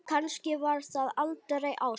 Kannski var það aldrei ást?